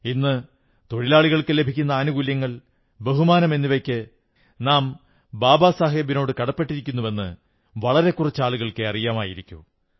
ഇന്ന് തൊഴിലാളികൾക്കു ലഭിക്കുന്ന ആനുകൂല്യങ്ങൾ ബഹുമാനം എന്നിവയ്ക്ക് നാം ബാബാ സാഹബിനോട് കടപ്പെട്ടിരിക്കുന്നുവെന്ന് വളരെ കുറച്ച് ആളുകൾക്കേ അറിയമായിരിക്കൂ